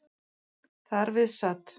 Þar við sat.